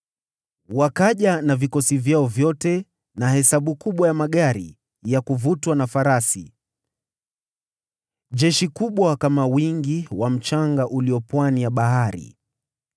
Wakaja na vikosi vyao vyote na hesabu kubwa ya farasi na magari ya kuvutwa na farasi, jeshi kubwa, kama wingi wa mchanga ulio pwani ya bahari.